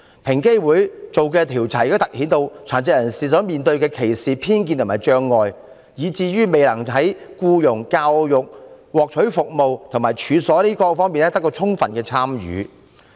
平機會所進行的調查凸顯了殘疾人士面對歧視、偏見及障礙，以至未能在僱傭、教育、獲取服務，以及處所進出方面得到充分參與。